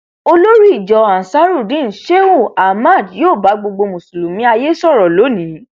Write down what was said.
olórí ìjọ ansarudeen shehu ahmad yóò bá gbogbo mùsùlùmí ayé sọrọ lọni